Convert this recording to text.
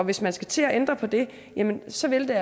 hvis man skal til at ændre på det så vil